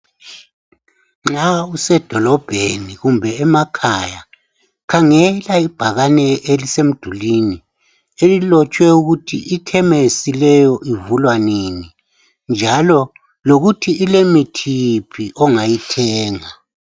Nxa usedolobheni kumbe emakhaya khangela ibhakane elisemdulini elilotshwe ukuthi ikhemesi leyo ivulwa nini njalo lokuthi ilemithi yiphi ongayithenga .